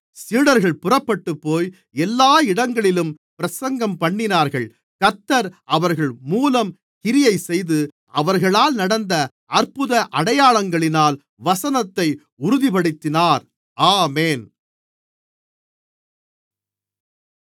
சீடர்கள் புறப்பட்டுப்போய் எல்லா இடங்களிலும் பிரசங்கம்பண்ணினார்கள் கர்த்தர் அவர்கள் மூலம் கிரியைசெய்து அவர்களால் நடந்த அற்புத அடையாளங்களினால் வசனத்தை உறுதிப்படுத்தினார் ஆமென்